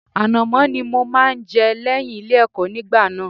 Ànàmọ́ ni mo máa ń jẹ lẹ́yìn Ilé-ẹ̀kọ́ nígbà náà.